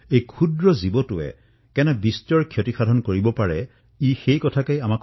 এই আক্ৰমণে আমাক স্মৰণ কৰাইছে যে এই সৰু জীৱটোও কিমান লোকচানদায়ক হব পাৰে